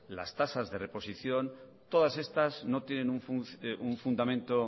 las tasas de reposición todas estas no tienen un fundamento